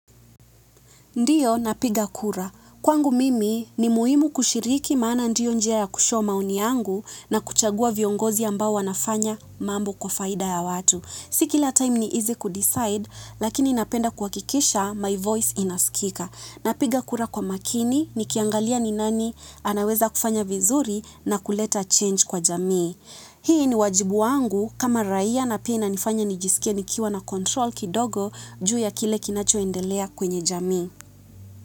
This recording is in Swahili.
Ndio, napiga kura. Kwangu mimi ni muhimu kushiriki maana ndiyo njia ya kushow maoni yangu na kuchagua viongozi ambao wanafanya mambo kwa faida ya watu. Si kila time ni easy kudecide, lakini napenda kuhakikisha, my voice inaskika. Napiga kura kwa makini, nikiangalia ni nani, anaweza kufanya vizuri na kuleta change kwa jamii. Hii ni wajibu wangu kama raia na pia inanifanya nijisikie nikiwa na control kidogo juu ya kile kinacho endelea kwenye jamii. Kwa hivyo.